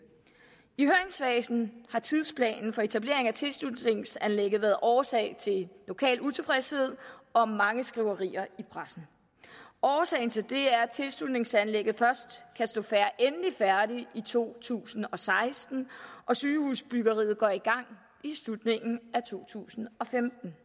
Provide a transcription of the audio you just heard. i høringsfasen har tidsplanen for etableringen af tilslutningsanlægget været årsag til lokal utilfredshed og mange skriverier i pressen årsagen til det er at tilslutningsanlægget først kan stå endelig færdigt i to tusind og seksten og sygehusbyggeriet går i gang i slutningen af to tusind og femten